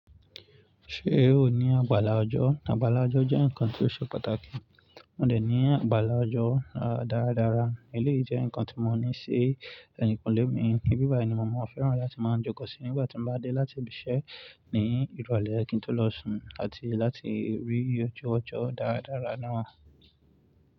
Ṣé o ní àgbàlá ọjọ́? Àgbàlá ọjọ́ jẹ́ ǹkan tó ṣe pàtàkì. Mò dẹ̀ ní àgbàlá ọjọ́ dáradára, èyí lè jẹ́ ǹkan tí mo ní ṣì ẹyìn kulè mí. Ní bíbàyi ni mo máa fẹ́ràn láti máa jókòó sí nígbà tí mo bá dé láti ìbi iṣẹ́ ní ìrọ̀lẹ́ kí n tó lọ sùn àti láti rí oju ọjọ́ dáradára náà.